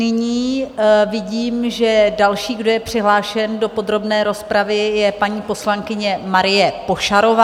Nyní vidím, že další, kdo je přihlášen do podrobné rozpravy, je paní poslankyně Marie Pošarová.